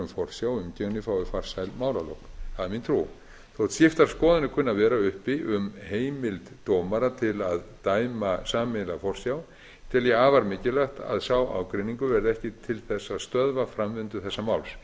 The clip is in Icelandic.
farsæl málalok það er mín trú þótt skiptar skoðanir kunni að vera uppi um heimild dómara til að dæma sameiginlega forsjá tel ég afar mikilvægt að sá ágreiningur verði ekki til þess að stöðva framvindu þessa máls